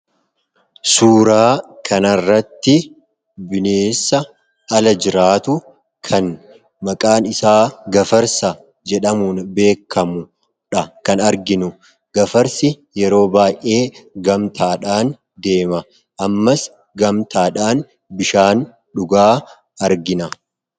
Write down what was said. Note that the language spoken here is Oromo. Suuraa kanarratti bineessa ala jiraatu kan maqaan isaa gafarsa jedhamuun beekamudha kan arginu. Gafarsi yeroo baay'ee gamtaadhaan deema. Ammas gamtaadhaan bishaan dhugaa argina.